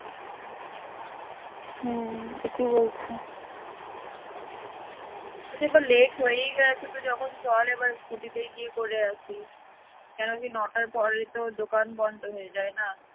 দিয়ে পড়ে late হয়েই গেছে তো যখন চল এবার scooty তে গিয়ে করে আসি, কেন কি নটার পর তো দোকান বন্ধ হয়ে যায় না